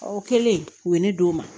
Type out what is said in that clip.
Ɔ kɛlen u ye ne d'o ma